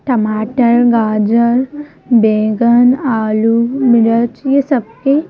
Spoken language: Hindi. टमाटर गाजर बैगन आलू मिर्च यह सबके--